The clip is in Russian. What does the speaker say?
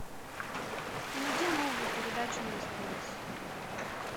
найди новую передачу на стс